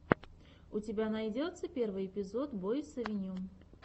у тебя найдется первый эпизод бойс авеню